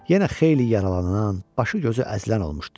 Yenə xeyli yaralanan, başı-gözü əzilən olmuşdu.